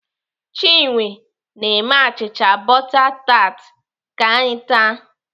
Chinwe na-eme achịcha bọta tat ka anyị taa.